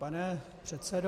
Pane předsedo.